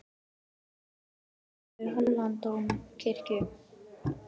Þetta er helsti gripur Hóladómkirkju.